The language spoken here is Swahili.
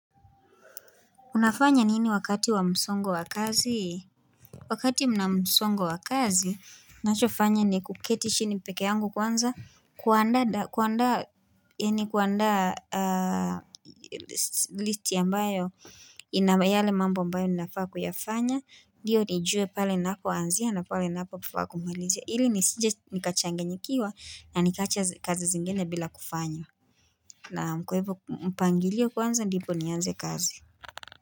Unafanya nini wakati wa msongo wa kazi? Wakati mna msongo wa kazi, ninachofanya ni kuketi chini pekee yangu kwanza, kuandaa, kuandaa, yaani kuandaa listi ambayo, ina yale mambo ambayo ninafaa kuyafanya, ndiyo nijue pale ninapoanzia, na pale ninapofaa kumalizia. Ili nisije nikachanganyikiwa, na nikaacha kazi zingine bila kufanya. Naam kwa hivyo mpangilio kwanza, ndipo nianze kazi.